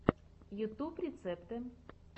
ютьюб рецепты